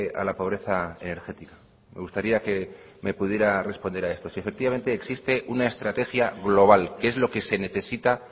a la pobreza energética me gustaría que me pudiera responder a esto si efectivamente existe una estrategia global que es lo que se necesita